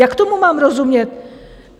Jak tomu mám rozumět?